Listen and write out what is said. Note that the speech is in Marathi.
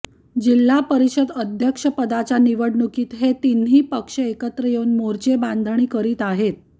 जिल्हा परिषद अध्यक्षपदाच्या निवडणुकीत हे तिन्ही पक्ष एकत्र येऊन मोर्चे बांधणी करीत आहेत